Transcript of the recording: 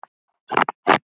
Hvergi glæta.